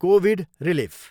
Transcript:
Covid relief.